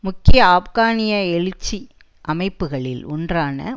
முக்கிய ஆப்கானிய எழுச்சி அமைப்புக்களில் ஒன்றான